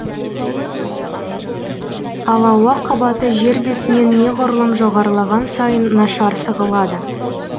ал ауа қабаты жер бетінен неғұрлым жоғарылаған сайын нашар сығылады